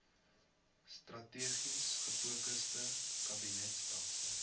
strategies gefokusde kabinetstelsel